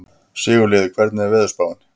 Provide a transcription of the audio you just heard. Sigurliði, hvernig er veðurspáin?